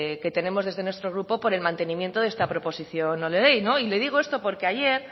que tenemos desde nuestro grupo por el mantenimiento de esta proposición no de ley le digo esto porque ayer